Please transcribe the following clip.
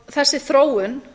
þessi þróun